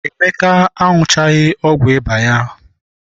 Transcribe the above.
Emeka aṅuchaghị ọgwụ ịba ya.